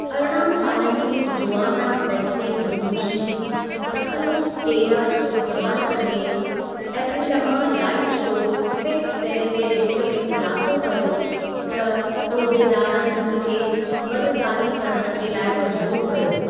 अरिॾहं सालनि जी Joana Besnik Dudushi, तख़ल्लुस 'स्टेला' जो इस्तेमालु कंदे, एप्रिलमां लाइव शो 'फिक्स फेयर' जे विच में खु़लासो कयो, त उहिदेदारनि हुन खे बदकारी करणु जे लाइ मजबूर कयो ।